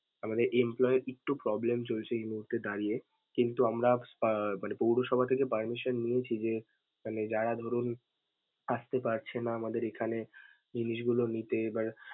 আমাদের empolyee এর একটু problem চলছে এ মুহূর্তে দাঁড়িয়ে. কিন্তু আমরা আহ মানে পৌরসভা থেকে permission নিয়েছি যে মানে যারা ধরুন আসতে পারছে না আমাদের এখানে জিনিসগুলো নিতে এবার।